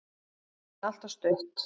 En alltof stutt.